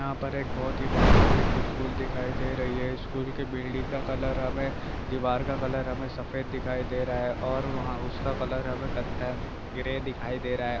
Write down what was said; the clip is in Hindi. यहां पर एक बहुत ही बढ़िया एक स्कूल दिखाई दे रही है। स्कूल के बिल्डिंग का कलर हमें दिवार का कलर हमें सफेद दिखाई दे रहा है और वहाँ उसका कलर हमें कत्ताय ग्रे दिखाई दे रहा है।